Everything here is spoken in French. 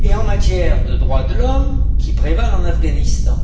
et en matière de droits de l'homme qui prévalent en Afghanistan.